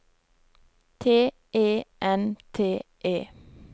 T E N T E